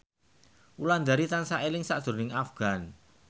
Wulandari tansah eling sakjroning Afgan